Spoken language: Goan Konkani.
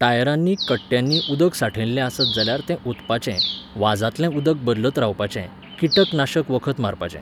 टायरांनी कट्ट्यांनी उदक साठयल्ले आसत जाल्यार तें ओतपाचें, वाझांतलें उदक बदलत रावपाचें, कीटक नाशक वखत मारपाचें.